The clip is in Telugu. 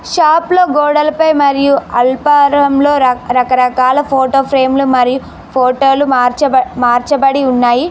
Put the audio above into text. షాప్ లో గోడలపై మరియు అల్ఫారంలో రాక్ రకరకాల ఫోటో ఫ్రేము లు మరియు ఫోటో లు మార్చ మార్చబడి ఉన్నాయి.